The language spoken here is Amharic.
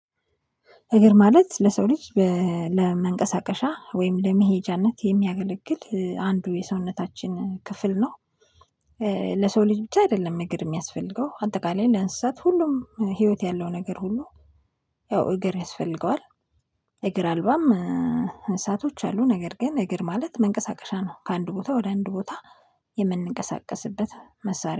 እግር ማለት ለሰው ልጅ ለመንቀሳቀሻ ወይም ለመሄጃነት የሚያገለግል አንዱ የሰውነታችን ክፍል ነው። ለሰው ልጅ ብቻ አይደለም እግር የሚያስፈልገው አጠቃላይ ለእንስሳት ሁሉም ህይወት ያለው ነገር ሁሉ። ያው እግር ያስፈልገዋል። እግር አልባም መንሳቶች አሉ ነገር ግን ነገር ማለት መንቀሳቀሻ ነው ከአንድ ቦታ ወደ አንድ ቦታ የምንቀሳቀስበት መሳሪያ